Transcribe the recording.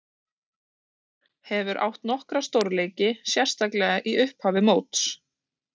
Hefur átt nokkra stórleiki, sérstaklega í upphafi móts.